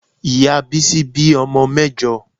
Ìyá Bísí bí ọmọ mẹ́jọ.